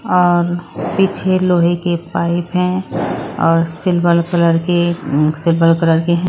और पीछे लोहे के पाइप हैं और सिल्वर कलर के सिल्वर कलर के हैं।